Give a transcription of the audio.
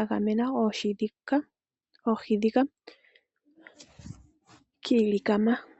agamena oohi dhika kiilikama.